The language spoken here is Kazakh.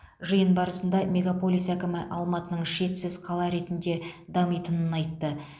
жиын барысында мегаполис әкімі алматының шетсіз қала ретінде дамитынын айтты